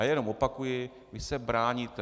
A jenom opakuji - vy se bráníte.